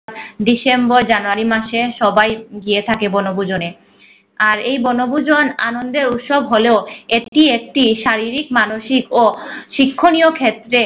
December জানুয়ারি মাসে সবাই গিয়ে থাকে বনভূজনে আর এই বনভূজন আন্দন উৎসব হলেও। এটি একটি শারীক মানসিক ও শিক্ষনীয় ক্ষেত্রে